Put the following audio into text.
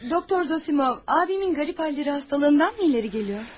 Doktor Zosimov, qardaşımın əsəb xəstəliyindənmi irəli gəlir?